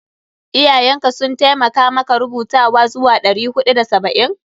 Iyayen ka sun taimakamaka rubutawa zuwa ɗari huɗu da saba'in?